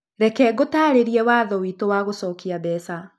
Reke ngũtaarĩrie watho witũ wa gũcokia mbeca